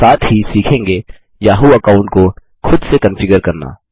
हम साथ ही सीखेंगे याहू अकाउंट को खुद से कन्फिगर करना